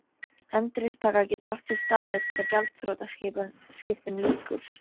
Endurupptaka getur átt sér stað eftir að gjaldþrotaskiptum lýkur.